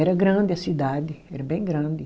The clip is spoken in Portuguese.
Era grande a cidade, era bem grande.